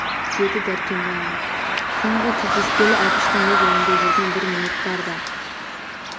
деді дәркембайға соңғы кездескелі әбіштің өз ойында жүрген бір ниет бар да